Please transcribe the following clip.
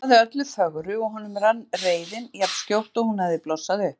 Hún lofaði öllu fögru og honum rann reiðin jafn skjótt og hún hafði blossað upp.